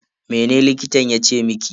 Mene likitan yace miki?